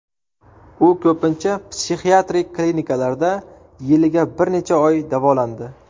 U ko‘pincha psixiatrik klinikalarda yiliga bir necha oy davolandi.